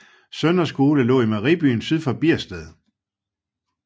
Søndre Skole lå i Mejeribyen syd for Biersted